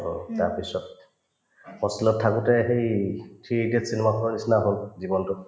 অ, তাৰপিছত hostel ত থাকোতে সেই three idiots cinema খনৰ নিচিনা হল জীৱনতোত